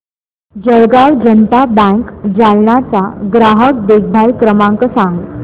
Jalgaon Janata bank Jalna चा ग्राहक देखभाल क्रमांक सांग